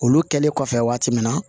Olu kɛlen kɔfɛ waati min na